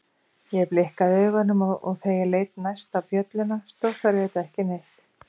Ég blikkaði augunum og þegar ég leit næst á bjölluna stóð þar auðvitað ekki neitt.